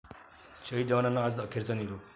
शहीद जवानांना आज अखेरचा निरोप